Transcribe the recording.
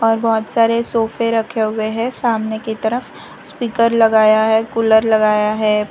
और बहोत सारे सोफे रखे हुए हैं सामने की तरफ स्पीकर लगाया है कूलर लगाया है।